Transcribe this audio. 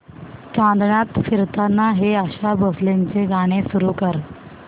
चांदण्यात फिरताना हे आशा भोसलेंचे गाणे सुरू कर